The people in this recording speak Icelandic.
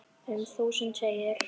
Um þúsund segir